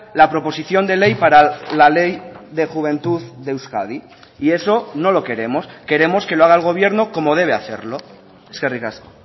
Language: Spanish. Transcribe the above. la proposición de ley para la ley de juventud de euskadi y eso no lo queremos queremos que lo haga el gobierno como debe hacerlo eskerrik asko